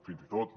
fins i tot no